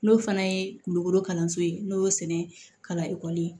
N'o fana ye kulokoro kalanso ye n'o y'o sɛnɛ kalan e